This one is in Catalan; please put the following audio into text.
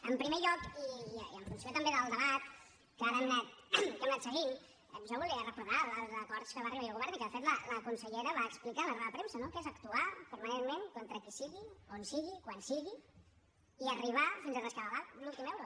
en primer lloc i en funció també del debat que ara hem anat seguint jo volia recordar els acords a què va arribar ahir el govern i que de fet la consellera va explicar a la roda de premsa no que és actuar permanentment contra qui sigui on sigui quan sigui i arribar fins a rescabalar l’últim euro